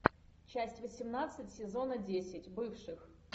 часть восемнадцать сезона десять бывших